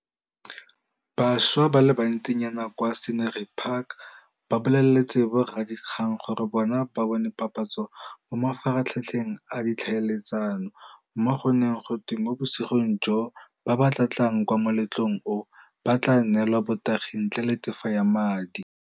Bašwa ba le bantsinyana kwa Scenery Park ba boleletse boradikgang gore bona ba bone papatso mo mafaratlhatlheng a ditlhaeletsano, mo go neng go twe mo bosigong joo ba ba tla tlang kwa moletlong oo ba tla neelwa notagi ntle le tefo ya madi.